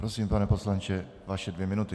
Prosím, pane poslanče, vaše dvě minuty.